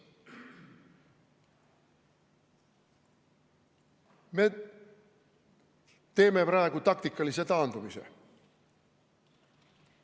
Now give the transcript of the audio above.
Me teeme praegu taktikalise taandumise.